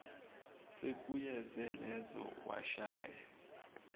sekuyize leze washaya